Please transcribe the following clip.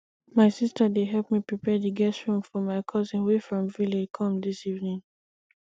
my sister dey help me prepare the guest room for my cousin wey from village come dis evening